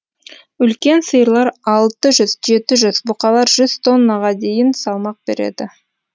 үлкен сиырлар алты жүз жеті жүз бұқалар жүз тоннаға дейін салмақ береді